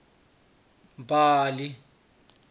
mbali